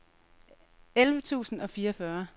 elleve tusind og fireogfyrre